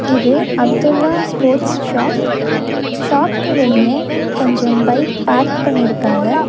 இது Abdullah sports shop ஷாப்க்கு வெளிய கொஞ்சம் பைக் பார்க் பண்ணிருக்காங்க.